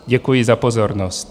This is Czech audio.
Děkuji za pozornost.